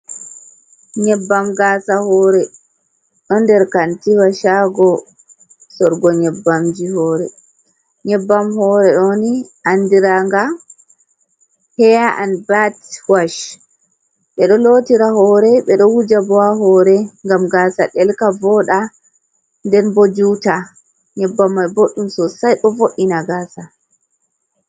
Nyebbam gaasa hore ɗon nder kantiwa shago sorugo nyebbamji hore. Nyebbam hore ɗoni andira nga heya an bat wash ɓeɗo lotira hore ɓeɗo wuja bo ha hore ngam gaasa ɗelka, voɗa, nden bo juta, nyebbam mai boɗɗum sosai bo vod’ina gaasa.